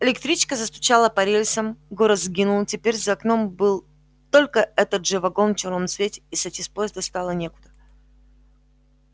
электричка застучала по рельсам город сгинул теперь за окном был только этот же вагон в чёрном цвете и сойти с поезда стало некуда